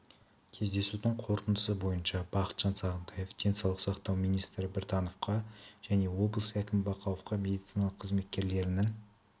кездесудің қорытындысы бойынша бақытжан сағынтаев денсаулық сақтау министрі біртановқа және облыс әкімі бақауовқа медицина қызметкерлерінің